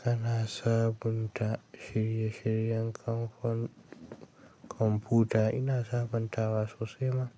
Ka na saba da shirye shiryen kamfan komfuta ina saban tawa sosai ma.